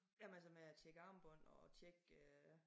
Jamen altså med at tjekke armbånd og tjekke øh